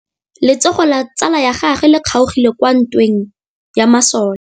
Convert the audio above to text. Letsôgô la tsala ya gagwe le kgaogile kwa ntweng ya masole.